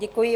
Děkuji.